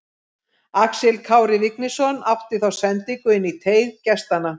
Axel Kári Vignisson átti þá sendingu inn í teig gestanna.